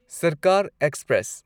ꯁꯔꯀꯥꯔ ꯑꯦꯛꯁꯄ꯭ꯔꯦꯁ